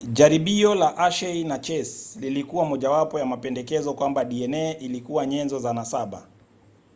jaribio la hershey na chase lilikuwa mojawapo ya mapendekezo kwamba dna ilikuwa nyenzo za nasaba